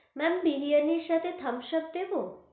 Ma'am biryani সাথে thumbs up দেব?